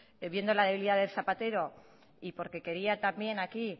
viendo la debilidad de zapatero y porque quería también aquí